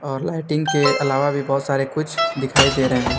और लाइटिंग के अलावा भी बहोत सारे कुछ दिखाई दे रहे है।